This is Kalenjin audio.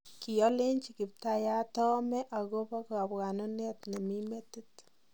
Kiolenjin kiptayat oomee agobo kabwanuneet nemii metiti.